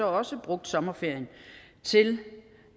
også har brugt sommerferien til